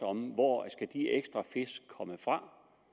om hvor de ekstra fisk skal komme fra